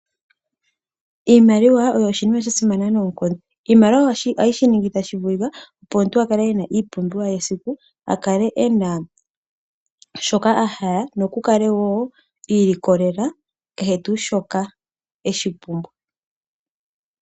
Iimaliwa oyo iinima ya simana noonkondo. Iimaliwa ohayi shiningitha tashi vulika opo omuntu akale e na iipumbiwa ye yesiku, a kale e na shoka a hala, ye akale wo iilikolela kehe tuu shoka a pumbwa.